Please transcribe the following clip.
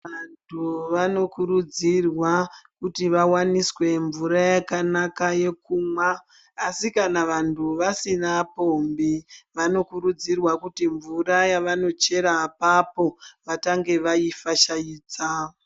Vantu vanokurudzirwa kuti vawaniswe mnvura yakanaka yekumwa , asi kana vantu vasina pombi, vanokurudzirwa kuti mnvura yavanochera apapo vatange vaifashaidza.